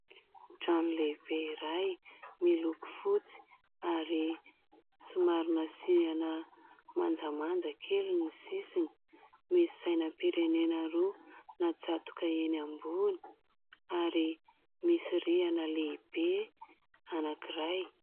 Trano lehibe iray miloko fotsy ary somary nasiana manjamanja kely ny sisiny, misy sainam-pirenena roa natsatoka eny ambony ary misy rihana lehibe anankiray.